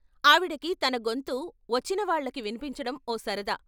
ఆవిడకి తనగొంతు వచ్చిన వాళ్ళకి విన్పించటం ఓ సరదా.